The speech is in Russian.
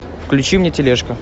включи мне тележка